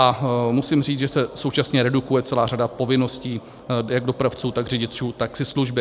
A musím říct, že se současně redukuje celá řada povinností jak dopravců, tak řidičů taxislužby.